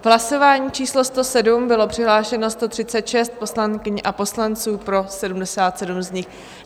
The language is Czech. V hlasování číslo 107 bylo přihlášeno 136 poslankyň a poslanců, pro 77 z nich.